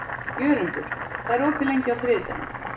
Jörundur, hvað er opið lengi á þriðjudaginn?